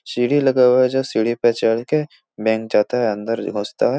सीढ़ी लगा हुआ है जो सीढ़ी पे चल के बैंक जाता है अंदर घुसता है ।